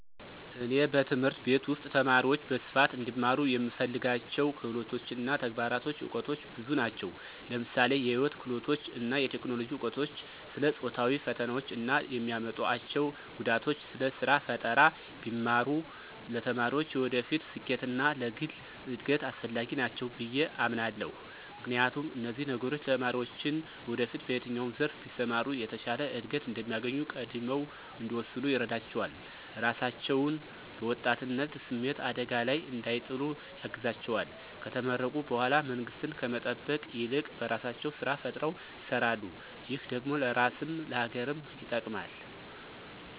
እኔ በትምህርት ቤት ውስጥ ተማሪዎች በስፋት እንዲማሩ የምፈልጋቸው ክህሎቶች እና ተግባራዊ እውቀቶች ብዙ ናቸው። ለምሳሌ የህይወት ክህሎቶች እና የቴክኖሎጂ እውቀቶች፣ ስለ ጾታዊ ፈተናዎች እና የሚያመጡአቸው ጉዳቶች፣ ስለ ስራ ፈጠራ ቢማሩ ለተማሪዎች የወደፊት ስኬት እና ለግል እድገት አስፈላጊ ናቸው ብየ አምናለሁ። ምክንያቱም፣ እነዚህ ነገሮች ተማሪዎችን ወደፊት በየትኛው ዘርፍ ቢሰማሩ የተሻለ እድገት እንደሚያገኙ ቀድመው እንዲወስኑ ይረዳቸዋል፣ ራሳቸውን በወጣትነት ስሜት አደጋ ላይ እንዳይጥሉ ያግዛቸዋል፣ ከተመረቁ በኃላ መንግስትን ከመጠበቅ ይልቅ በራሳቸው ስራ ፈጥረው ይሰራሉ ,ይህ ደግሞ ለራስም ለሀገርም ይጠቅማል።